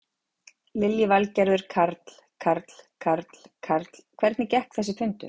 Lillý Valgerður: Karl, Karl, Karl, Karl, hvernig gekk þessi fundur?